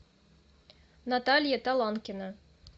наталья таланкина